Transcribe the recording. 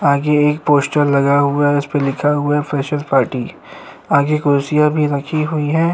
आगे एक पोस्टर लगा हुआ है उसपे लिखा हुआ है फ्रेशर पार्टी आगे कुर्सियाँ भी रखी हुई हैं।